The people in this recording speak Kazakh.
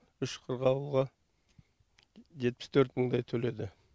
үш қырғауылға жетпіс төрт мыңдай төледі